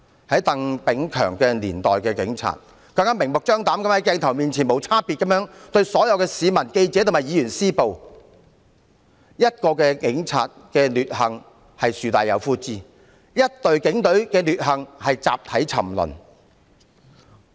在鄧炳強年代的警察，更明目張膽地在鏡頭前無差別向所有市民、記者及議員施暴，一名警察的劣行是樹大有枯枝，一隊警隊的劣行是集體沉淪。